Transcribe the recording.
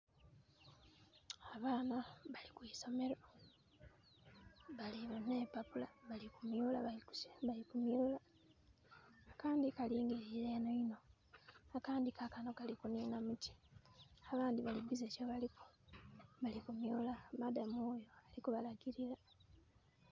Abaana bali kwisomero balina empapula bali kuniola.....Akandi kalingirire enho inho. Akandi kakano kali kunina muti. Abandi bali busy kyebaliku. Bali kuniola, madamu wule alikubalagirira